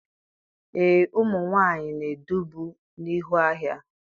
Ee, ụmụ nwanyị na-edubu n'ihu agha